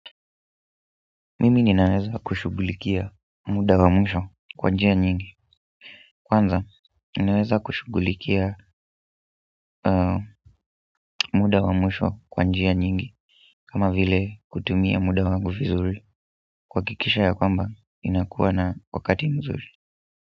Mimi ninaweza kushughulikia muda wa mwisho kwa njia nyingi kwanza, ninaweza kushughulikia muda wa mwisho kwa njia nyingi kama vile kutumia muda wangu vizuri kuhakikisha ya kwamba ninakuwa na wakati nzuri.